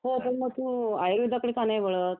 हो मग तू आयुर्वेदाकडे का नई वळत